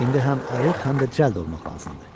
İndi həm ayıq, həm də cəld olmaq lazımdır.